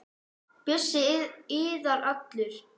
Bjössi iðar allur.